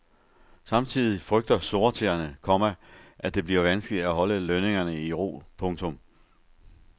Samtidig frygter sortseerne, komma at det bliver vanskeligt at holde lønningerne i ro. punktum